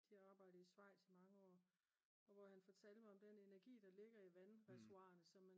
de har arbejdet i Schweiz i mange år og hvor han fortalte mig om den energi der ligger i vandreservoirerne